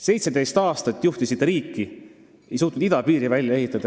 17 aastat juhtisite riiki, aga ei suutnud idapiiri välja ehitada.